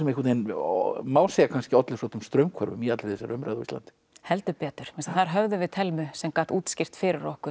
má segja olli svolitlum straumhvörfum í allri þessari umræðu á Íslandi heldur betur þess að þar höfðum við Thelmu sem gat útskýrt fyrir okkur